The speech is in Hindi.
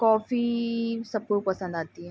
कॉफ़ी इ सबको पसंद आती है।